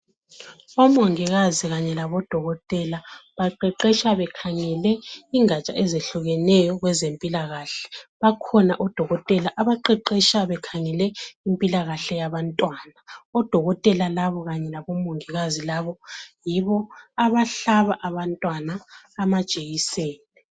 Omongikazi kanye labodokotela baqeqesha bekhangele ingaja ezehlukeneyo kwezempilakahle. Bakhona odokotela abaqeqesha bekhangele impilakahle yabantwana. Odokotela labo kanye labomongikazi labo yibo abahlaba abantwana amajekiseni.